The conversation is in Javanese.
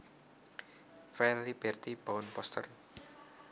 File Liberty bound poster